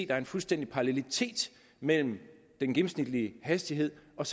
der er fuldstændig parallelitet mellem den gennemsnitlige hastighed og